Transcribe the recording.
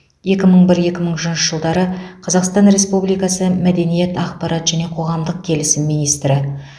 екі мың бір екі мың үшінші жылдары қазақстан республикасы мәдениет ақпарат және қоғамдық келісім министрі